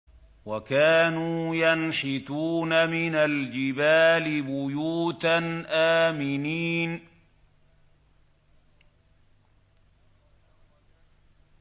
وَكَانُوا يَنْحِتُونَ مِنَ الْجِبَالِ بُيُوتًا آمِنِينَ